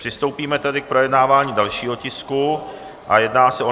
Přistoupíme tedy k projednávání dalšího tisku a jedná se o